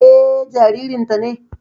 Eh, jaririn ta ne